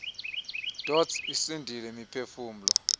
dots isindise imiphefumlo